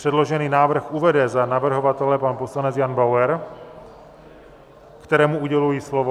Předložený návrh uvede za navrhovatele pan poslanec Jan Bauer, kterému uděluji slovo.